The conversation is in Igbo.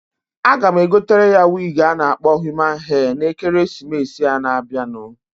A ga m egotere ya wig a na-akpọ human hair, na Ekeresimesịa na-abianu.